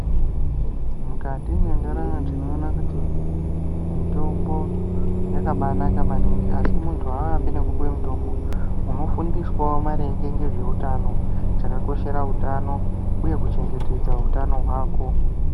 Mukati mentaramo tinoona kuti mitombo yakabainaka maningi asi muntu haarapwi nekupiwa mitombo, unofundiswawo maringe ngezveutano chakakoshera utano uye kuchengetedza utano hwako.